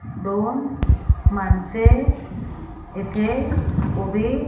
दोन माणसे इथे उभी --